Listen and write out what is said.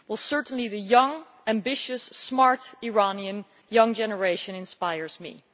Certainly the ambitious, smart, Iranian young generation inspires me.